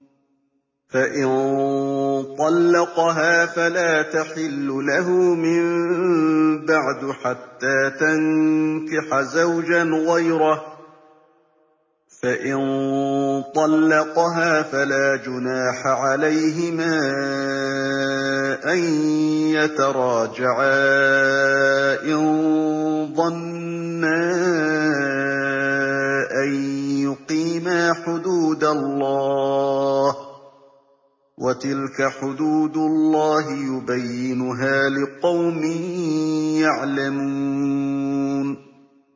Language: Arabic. فَإِن طَلَّقَهَا فَلَا تَحِلُّ لَهُ مِن بَعْدُ حَتَّىٰ تَنكِحَ زَوْجًا غَيْرَهُ ۗ فَإِن طَلَّقَهَا فَلَا جُنَاحَ عَلَيْهِمَا أَن يَتَرَاجَعَا إِن ظَنَّا أَن يُقِيمَا حُدُودَ اللَّهِ ۗ وَتِلْكَ حُدُودُ اللَّهِ يُبَيِّنُهَا لِقَوْمٍ يَعْلَمُونَ